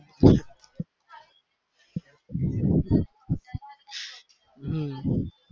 હમ